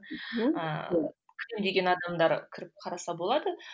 ыыы адамдар кіріп қараса болады